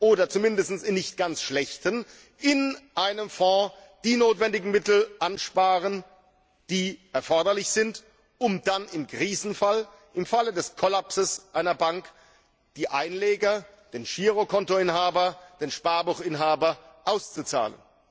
oder zumindest in nicht ganz schlechten, in einem Fonds die notwendigen Mittel ansparen, die erforderlich sind, um im Krisenfall, im Falle des Kollapses einer Bank, die Einleger, den Girokontoinhaber, den Sparbuchinhaber auszuzahlen.